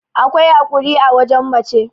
akwai haƙuri a wajen mace